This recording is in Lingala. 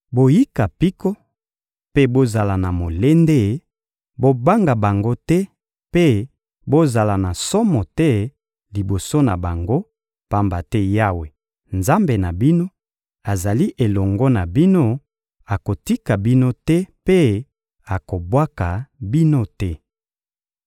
Boyika mpiko mpe bozala na molende, bobanga bango te mpe bozala na somo te liboso na bango; pamba te Yawe, Nzambe na bino, azali elongo na bino, akotika bino te mpe akobwaka bino te.»